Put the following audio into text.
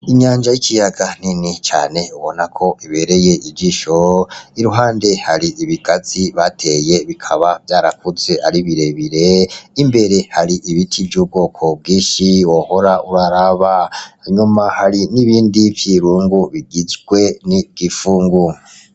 Inyanja y'ikiyaga nini cane ubona ko ibereye ijisho, iruhande hari ibigazi bateye bikaba vyarakuze ari birebire imbere hari ibiti vy'ubwoko bwinshi wohora uraraba inyuma hari n'ibindi vyirungu bigizwe n'igipfungu.